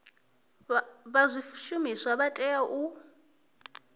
vha zwishumiswa vha tea u